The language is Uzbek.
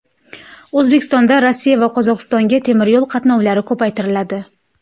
O‘zbekistondan Rossiya va Qozog‘istonga temiryo‘l qatnovlari ko‘paytiriladi.